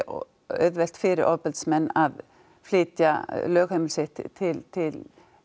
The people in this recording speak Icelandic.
auðvelt fyrir ofbeldismenn að flytja lögheimili sitt til til